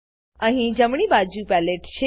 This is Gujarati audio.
અહીં જમણી બાજુ પેલેટ છે